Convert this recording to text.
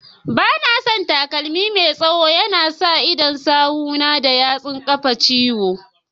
Banason takalmi Mai tsaye, yana sa idon sawu na da yatsun kafa na ciwo.